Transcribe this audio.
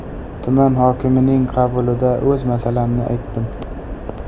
Tuman hokimining qabulida o‘z masalamni aytdim.